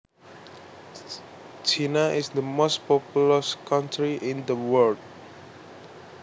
China is the most populous country in the world